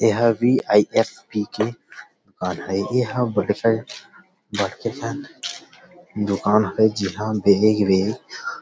यहां भी व्हीआईएएस पीकर आता हे यहां बख्सियन बैठ कसन दुकान हे जिहा बेग वेग --